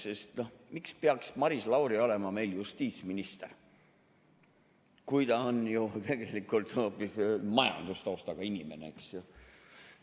Sest miks peaks Maris Lauri olema meil justiitsminister, kui ta on ju tegelikult hoopis majandustaustaga inimene, eks ju?